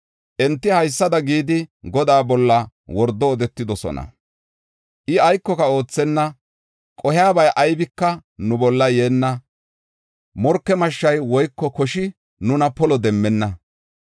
Enti haysada gidi Godaa bolla wordo odetidosona: “I aykoka oothenna; qohiyabay aybika nu bolla yeenna. Morke mashshay woyko koshi nuna polo demmenna.